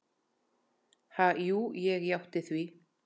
Ha, jú ég játti því.